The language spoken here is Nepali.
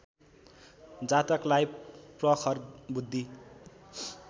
जातकलाई प्रखर बुद्धि